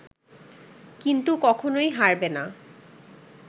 কিন্তু কখনোই হারবে না